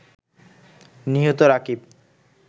নিহত রাকিব